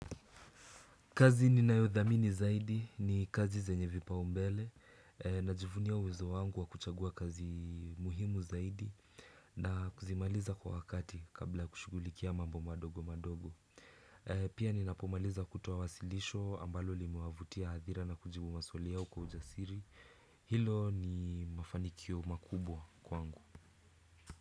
Kazi ninayodhamini zaidi ni kazi zenye vipaumbele najivunia uwezo wangu wakuchagua kazi muhimu zaidi na kuzimaliza kwa wakati kabla kushughulikia mambo madogo madogo. Pia ninapomaliza kutoa wasilisho ambalo limewavutia hadhira na kujibu maswali yao kwa ujasiri. Hilo ni mafanikio makubwa kwangu.